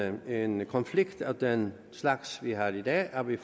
en konflikt af den slags vi har i dag hvor vi